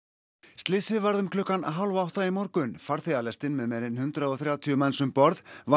slysið varð um klukkan hálf átta í morgun með meira en hundrað og þrjátíu manns um borð var